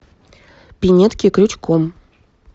пинетки крючком